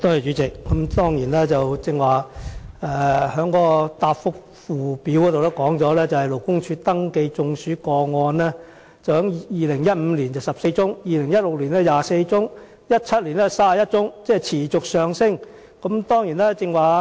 主席，根據主體答覆的附件，勞工處登記的中暑工傷個案在2015年有14宗 ，2016 年有24宗 ，2017 年有31宗，數字持續上升。